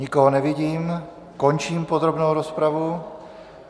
Nikoho nevidím, končím podrobnou rozpravu.